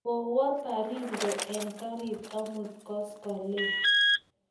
kowo Baringo eng' karit amut koskoleny